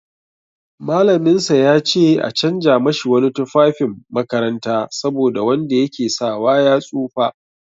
Mallaminsa ya ce a canja mashi wani tufafin makaranta saboda wanda ya ke sawa ya tsufa.